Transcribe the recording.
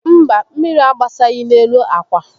Mba, mmírí agbasaghị n'elu ákwá